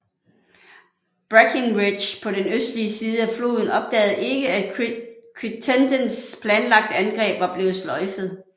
Breckinridge på den østlige side af floden opdagede ikke at Crittendens planlagte angreb var blevet sløjfet